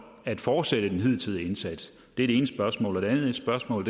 at fortsætte den hidtidige indsats det er det ene spørgsmål det andet spørgsmål